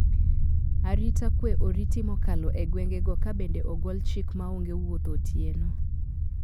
Arita kwee oriti mokalo e gwengego kabende ogol chik maonge wuotho otieno.